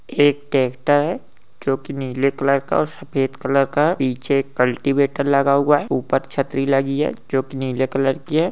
एक ट्रेक्टर है जो के नीले कलर का और सफ़ेद कलर का है। पीछे पलटीवेटर लगा हुआ है। ऊपर छतरी लगी है जो के नीले कलर की है